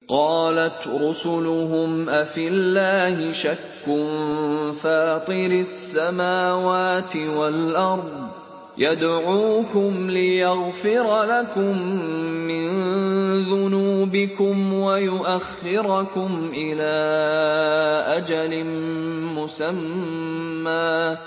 ۞ قَالَتْ رُسُلُهُمْ أَفِي اللَّهِ شَكٌّ فَاطِرِ السَّمَاوَاتِ وَالْأَرْضِ ۖ يَدْعُوكُمْ لِيَغْفِرَ لَكُم مِّن ذُنُوبِكُمْ وَيُؤَخِّرَكُمْ إِلَىٰ أَجَلٍ مُّسَمًّى ۚ